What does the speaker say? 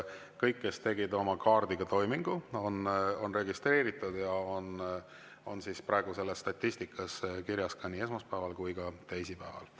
Kõik, kes tegid oma kaardiga toimingu, on registreeritud ja on praegu selles statistikas kirjas nii esmaspäeval kui ka teisipäeval.